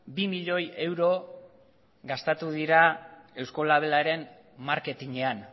bi milioi euro gastatu dira eusko labelaren marketinean